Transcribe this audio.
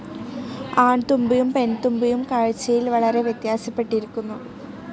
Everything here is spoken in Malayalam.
ആൺതുമ്പിയും പെൺതുമ്പിയും കാഴ്ച്ചയിൽ വളരെ വ്യത്യാസപ്പെട്ടിരിക്കുന്നു.